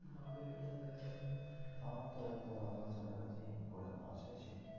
আমার তো এই তো রঞ্জন sir এর কাছেই আমি পড়ে pass হয়েছি।